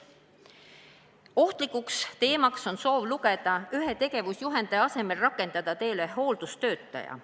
Ohtlik teema on soov ühe tegevusjuhendaja asemel rakendada tööle hooldustöötaja.